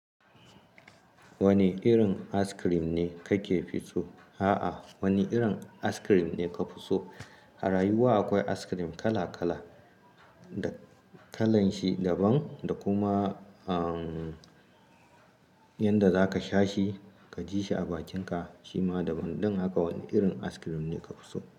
Wane irin askirim ne kake fi so? A'a wane irin askirim ne ka fi so? A rayuwa akwai askirim kala kala, da kalanshi daban da kuma, umm, yanda zaka sha shi ka ji shi a bakinka shima daban. Dan haka wani irin askirim ne ka fi so?